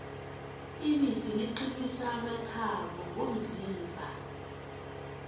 ibisi liqinisa amathambo womzimba